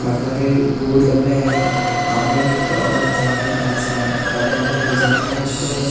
काफी सारे बोर्ड लग रहे हैं आने का और जाने का इसमें काफी सारी डिजाइनिंग में इसका --